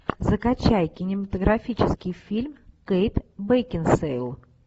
закачай кинематографический фильм кейт бекинсейл